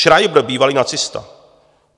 Schreiber, bývalý nacista.